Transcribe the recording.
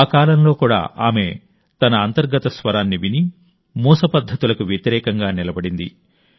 ఆ కాలంలో కూడా ఆమె తన అంతర్గత స్వరాన్ని విని మూస పద్ధతులకు వ్యతిరేకంగా నిలబడింది